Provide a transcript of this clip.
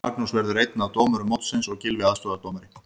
Magnús verður einn af dómurum mótsins og Gylfi aðstoðardómari.